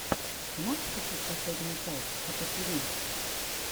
ты можешь включить последнюю часть хаппативи